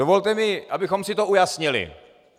Dovolte mi, abychom si to ujasnili.